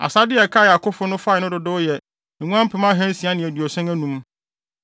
Asade a ɛkae a akofo no fae no dodow yɛ nguan mpem ahansia ne aduɔson anum (675,000);